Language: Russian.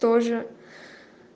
тоже